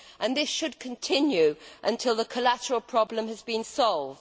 This should continue until the collateral problem has been solved.